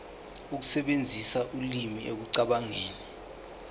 ukusebenzisa ulimi ekucabangeni